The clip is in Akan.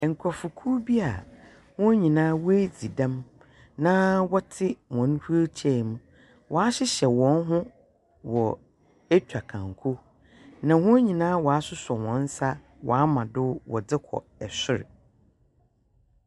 Nkrɔfokuw bi a wɔn nyinaa wɔadzi dɛm na hɔn nyinaa wɔtse wheel chair mu. Wɔahyehyɛ hɔn ho wɔ atwa kanko. Na wɔn nyinaa asosɔ hɔn nsa. Wɔama do wɔdze kɔ sor.